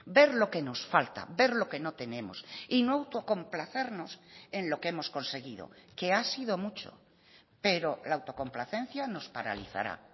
ver lo que nos falta ver lo que no tenemos y no autocomplacernos en lo que hemos conseguido que ha sido mucho pero la autocomplacencia nos paralizará